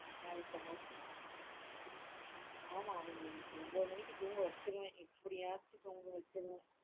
ஆமா அவங்கள ஒம்போது தூங்க வச்சுருவேன் எப்படியாச்சும் தூங்க வச்சுருவேன்.